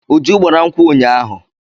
Uju gbara nkwụ ụnyaahụ.